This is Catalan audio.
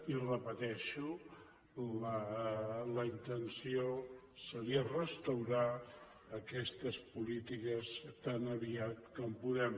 i ho repeteixo la intenció seria restaurar aquestes polítiques tan aviat com puguem